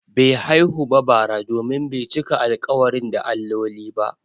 Bai haihu ba bara domin bai cika alƙawari da alloli ba.